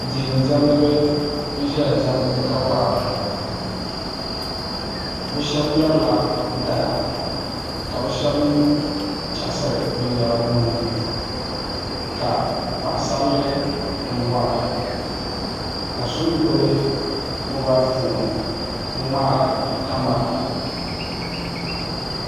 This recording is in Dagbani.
Diɛn dɛindiɛmdibi n ʒɛya ŋmɛri ka wora bi shab ŋmɛrila dala ka bi shab mii chaɣasiri binyɛra bi nuuni ka paɣasarili mii wora ka shab mii ʒɛya n ŋmaari kamɛra